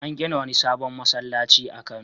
An gina wani sabon masallaci a Kano.